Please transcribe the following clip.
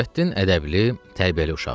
Nurəddin ədəbli, tərbiyəli uşaqdır.